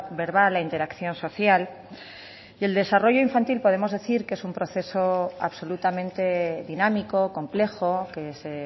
verbal la interacción social y del desarrollo infantil podemos decir que es un proceso absolutamente dinámico complejo que se